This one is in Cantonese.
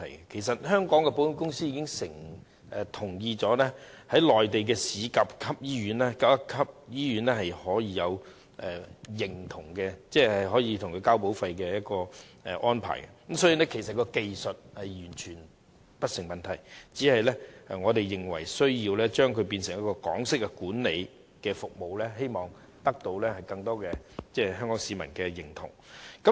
其實，香港的保險公司同意納入一些內地的甲級醫院，可以接受繳交保費的安排，所以技術上完全不成問題，只是我們認為有需要將醫院改為採用港式管理，希望得到更多香港市民認同。